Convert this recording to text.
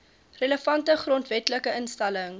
relevante grondwetlike instelling